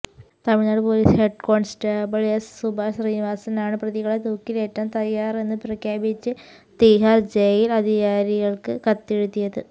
Tamil Nadu police head constable S Subhash ശ്രീനിവാസനാണ് പ്രതികളെ തൂക്കിലേറ്റാൻ തയ്യാറെന്ന് പ്രഖ്യാപിച്ച് തീഹാർ ജയിൽ അധികാരികൾക്ക് കത്തെഴുതിയത്